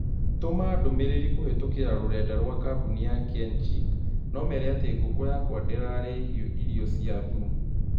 Tũma ndũmĩrĩri kũhītũkīra rũrenda rũa kabũni ya Kenchic na ũmeera atĩ ngũkuũ yakwa ndirarĩ hĩu irio ciathum